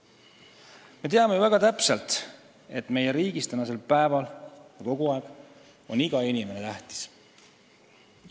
Me teame ju väga täpselt, et meie riigis on kogu aeg iga inimene tähtis.